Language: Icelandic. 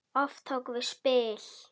Oft tókum við spil.